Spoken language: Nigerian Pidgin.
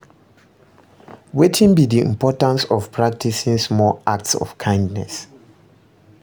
Wetin be di importance of practicing small acts of kindness?